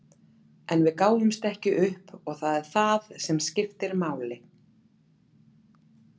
En við gáfumst ekki upp og það er það sem skiptir máli.